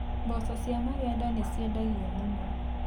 Mboco cia magendo nĩ ciendagio mũno.